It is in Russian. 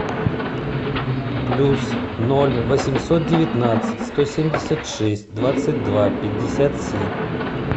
плюс ноль восемьсот девятнадцать сто семьдесят шесть двадцать два пятьдесят семь